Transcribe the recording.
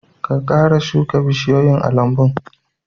Ka kara shuka bishiyoyi a almbun!